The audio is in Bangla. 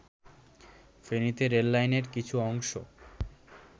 ফেনীতে রেললাইনের কিছু অংশ